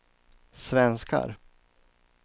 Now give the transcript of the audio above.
svenskar